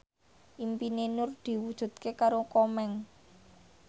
impine Nur diwujudke karo Komeng